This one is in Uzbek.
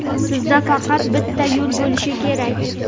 sizda faqat bitta yo‘l bo‘lishi kerak.